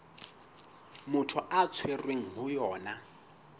motho a tshwerweng ho yona